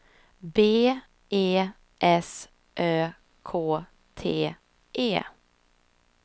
B E S Ö K T E